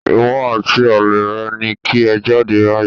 Ìwọ àti ọmọ àlè rẹ ni kí ẹ jáde báyìí